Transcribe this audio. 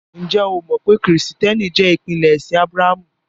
Njẹ́ ó mọ pé Kristiẹ́nìtì jẹ́ ìpínlẹ̀ ẹ̀ṣin Ábràhàmù?